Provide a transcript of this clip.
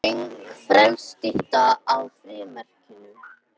Röng frelsisstytta á frímerkinu